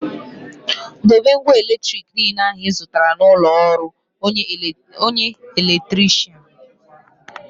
Dobe ngwa eletrik niile ahụ ị zụtara na ụlọ ọrụ onye elektirishan